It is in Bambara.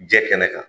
Jɛ kɛnɛ kan